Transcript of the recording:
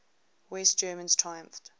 west germans triumphed